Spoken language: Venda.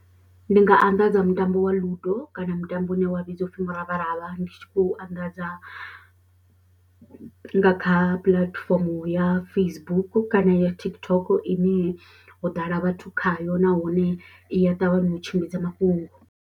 Ndi nga anḓadza mutambo wa ludo kana mutambo une wa vhidzwa u pfhi muravharavha ndi tshi khou anḓadza nga kha puḽatifomo ya Facebook kana ya TikTok ine ho ḓala vhathu khayo nahone i ya ṱavhanya u tshimbidza mafhungo.